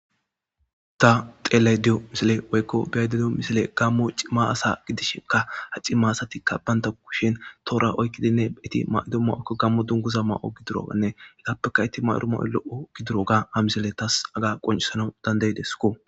ta xeelay diyo misile woykko biyaydediyo misile gammo cimma asa gidishinka ha cimma asatikka baynta kushin toora oykkidinne eti maydo ma7oykko gammo dunguza ma7o gidirogannehegappeka itti mayoromo7o lo7o gidiro ga ha misile tas aga qoncisanawu dandaydesko